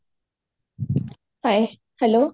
hi hello